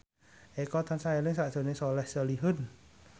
Eko tansah eling sakjroning Soleh Solihun